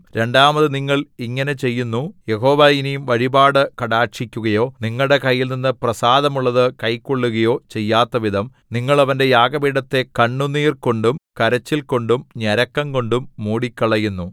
രണ്ടാമത് നിങ്ങൾ ഇങ്ങനെ ചെയ്യുന്നു യഹോവ ഇനി വഴിപാട് കടാക്ഷിക്കുകയോ നിങ്ങളുടെ കൈയിൽനിന്ന് പ്രസാദമുള്ളതു കൈക്കൊള്ളുകയോ ചെയ്യാത്തവിധം നിങ്ങൾ അവന്റെ യാഗപീഠത്തെ കണ്ണുനീർകൊണ്ടും കരച്ചിൽകൊണ്ടും ഞരക്കംകൊണ്ടും മൂടിക്കളയുന്നു